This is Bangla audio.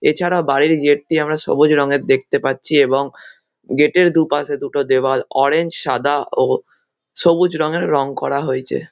এছাড়া বাড়ির গেট দিয়ে আমরা সবুজ রঙের দেখতে পাচ্ছি এবং গেট - এর দুপাশে দুটো দেওয়াল অরেঞ্জ সাদা ও সবুজ রঙের রঙ করা হয়েছে।